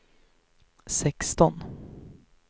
sexton